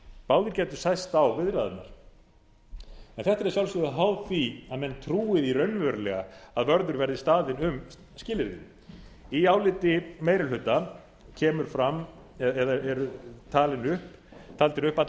báðir gæta sæst á viðræðurnar en þetta er að sjálfsögðu háð því að menn trúi því raunverulega að vörður verði staðinn um skilyrðin í áliti meiri hluta eru taldir upp allir